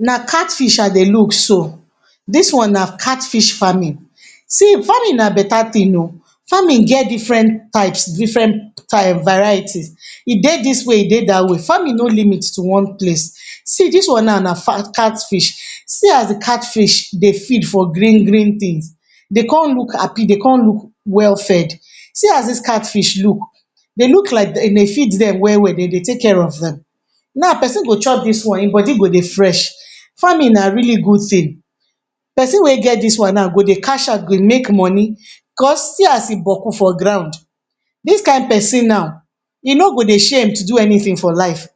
Na catfish I dey look so, dis one na catfish farming. See farming na beta thing oh! Farming get different types different um varieties, e dey dis way, e dey dat way. Farming no limit to one place. See dis one now na catfish, see as de catfish dey feed for green green things dey come look happy, dey come look well-fed. See as dis catfish look dey look like um dey feed dem, dem dey feed dem well well, dem dey take care of dem. Now persin go chop dis one im body go dey fresh. Farming na really good thing. Persin wey get dis one now go dey cash out go make money, cos see as e boku for ground. Dis kind persin now e no go dey Persin wey do dey shame to do anything for life.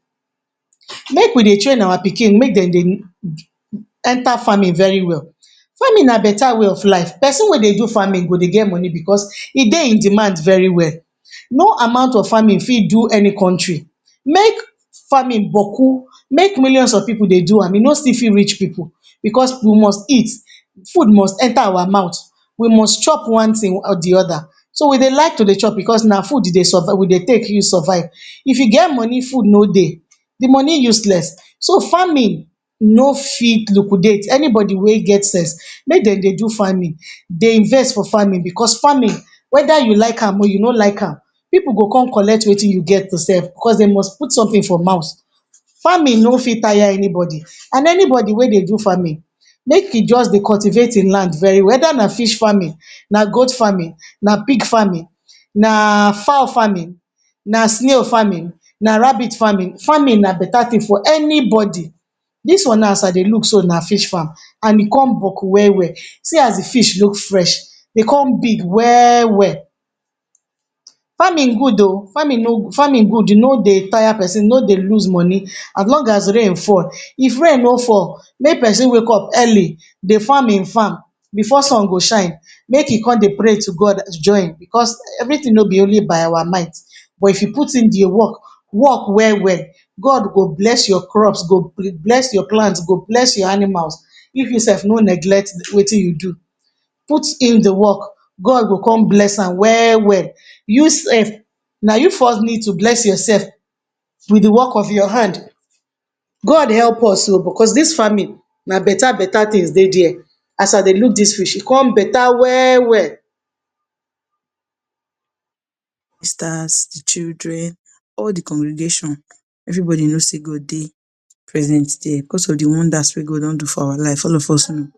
Make we dey train our pikin make dem um enter farming very well. Farming na beta way of life, persin wey dey do farming go dey get money because food dey in demand very well. No amount of farming fit do any country make farming boku, make millions of pipu dey do am, e no fit still reach pipu because we must eat, food must enter our mouth, we must chop one thing or de oda. So, we dey like to dey chop, because na food dey um dey take survive. If you get money food no dey de money useless, so farming no fit double liquidate anybody wey get sense, make dem dey do farming, dey invest for farming. Because farming, whether you like am or you no like am, pipu go come collect wetin you get to sell. Because dem must put something for mouth. Farming no fit tire anybody, and anybody wey dey do farming, make you just dey cultivate im land very well. Whether na fish farming, na goat farming, na pig farming, na fowl farming, na snail farming, na rabbit farming. Farming na beta thing for anybody. Dis one, as I dey look, so na fish farm, and e come boku well well. See as de fish look fresh, dey come big well well. Farming good oh, farming no dey tire persin, no dey lose money. As long as rain fall, if rain no fall, make persin wake up early dey farm im farm before sun go shine. Make you come dey pray to God join, because everything no be only by our mind, but if you put in de work, work well well God go bless your crops, go bless your plants, go bless your animals. If you sef no neglect wetin you do, put in de work, God go come bless am well well. You sef na you first need to bless yourself with de work of your hand. God help us oo, because dis farming na beta beta thing dey der. As I dey look dis fish, e come beta well well. Sisters, children, all de congregation, everybody no see God dey present here because of de wonders wey God don do for our life, all of us know.